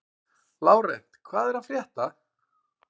Lárent, hvað er að frétta?